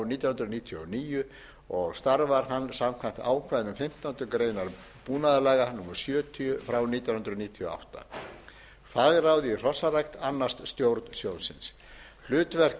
nítján hundruð níutíu og níu og starfar hann samkvæmt ákvæðum fimmtándu grein búnaðarlaga númer sjötíu nítján hundruð níutíu og átta fagráð í hrossarækt annast stjórn sjóðsins hlutverk